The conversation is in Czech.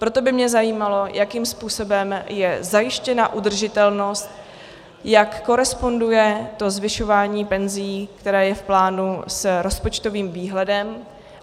Proto by mě zajímalo, jakým způsobem je zajištěna udržitelnost, jak koresponduje to zvyšování penzí, které je v plánu, s rozpočtovým výhledem.